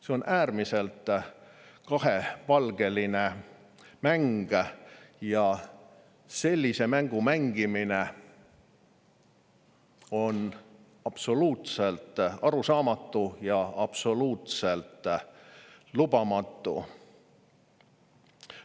See on äärmiselt kahepalgeline mäng ja sellise mängu mängimine on absoluutselt arusaamatu ja absoluutselt lubamatu.